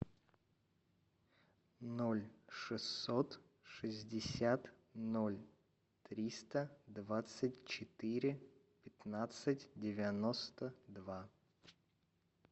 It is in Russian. ноль шестьсот шестьдесят ноль триста двадцать четыре пятнадцать девяносто два